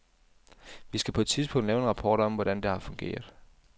Vi skal på et tidspunkt lave en rapport om, hvordan det har fungeret.